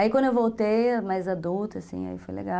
Aí, quando eu voltei, mais adulta, assim, aí foi legal.